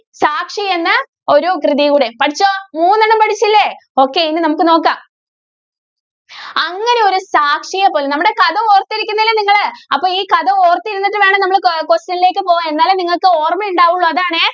സാക്ഷി എന്ന ഒരു കൃതിയുടെ പഠിച്ചോ? മൂന്നെണ്ണം പഠിച്ചില്ലേ. okay ഇനി നമുക്ക് നോക്കാം. അങ്ങനെ ഒരു സാക്ഷിയെ പോലെ നമ്മടെ കഥ ഓര്‍ത്തിരിക്കിന്നില്ലേ നിങ്ങള്? അപ്പം ഈ കഥ ഓര്‍ത്തിരുന്നിട്ടു വേണം നമ്മള് കൊ~ question ലേക്ക് പോവാന്‍. എന്നാലെ നിങ്ങക്ക് ഓര്‍മ്മയുണ്ടാവുള്ളൂ. അതാണേ.